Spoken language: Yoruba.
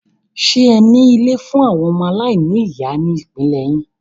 Ṣẹ ní ilé fún àwọn ọmọ aláìní ìyá ní ìpínlẹ̀ yín?